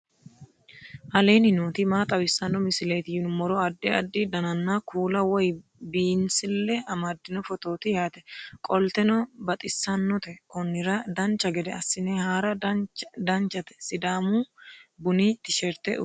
aleenni nooti maa xawisanno misileeti yinummoro addi addi dananna kuula woy biinsille amaddino footooti yaate qoltenno baxissannote konnira dancha gede assine haara danchate sidaamu bunnu tisherte udurino manni no